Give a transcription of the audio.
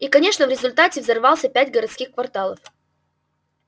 и конечно в результате взорвался пять городских кварталов